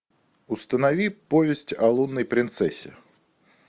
установи повесть о лунной принцессе